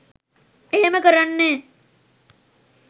එහෙම කරන්නේ